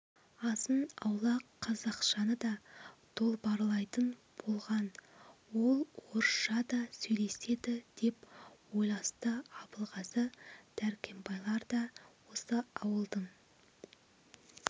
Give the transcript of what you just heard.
азын-аулақ қазақшаны да долбарлайтын болған ол орысша да сөйлеседі деп ойласты абылғазы дәркембайлар да осы ауылдың